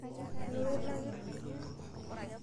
Inoto ilakir?